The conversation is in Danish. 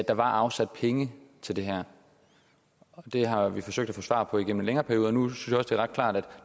afsat penge til det her det har vi forsøgt at få svar på igennem en længere periode nu synes jeg det er ret klart at